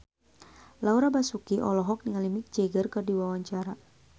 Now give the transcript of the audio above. Laura Basuki olohok ningali Mick Jagger keur diwawancara